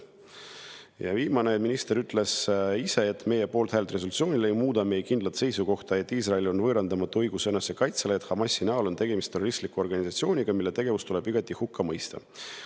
Ja viimane: minister ise ütles, et meie poolthääl resolutsioonile ei muuda meie kindlat seisukohta, et Iisraelil on võõrandamatu õigus enesekaitsele ja et Hamasi näol on tegemist terroristliku organisatsiooniga, mille tegevus tuleb igati hukka mõista.